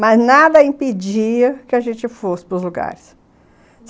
Mas nada impedia que a gente fosse pros lugares.